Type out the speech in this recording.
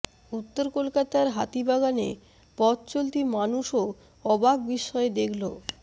উত্তর কলকাতার হাতিবাগানে পথ চলতি মানুযও অবাক বিস্ময়ে দেখল